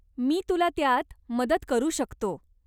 मी तुला त्यात मदत करू शकतो.